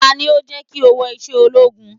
Tani ó jẹ́ kí o wọ iṣẹ́ ológun?